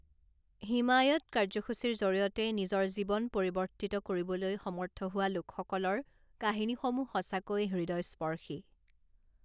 হিমায়ৎ কাৰ্যসূচীৰ জৰিয়তে নিজৰ জীৱন পৰিৱৰ্তিত কৰিবলৈ সমৰ্থ হোৱা লোকসকলৰ কাহিনীসমূহ সঁচাকৈয়ে হৃদয়স্পৰ্শী!